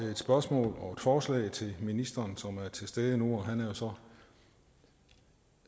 spørgsmål og et forslag til ministeren som er til stede nu og han er så